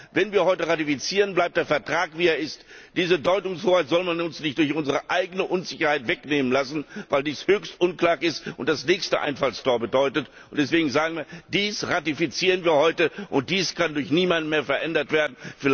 Wenn wir heute ratifizieren, bleibt der Vertrag wie er ist. Diese Deutungshoheit soll man uns nicht durch unsere eigene Unsicherheit wegnehmen lassen, weil dies höchst unklug ist und das nächste Einfallstor bedeutet. Deswegen sagen wir Dies ratifizieren wir heute, und dies kann durch niemanden mehr verändert werden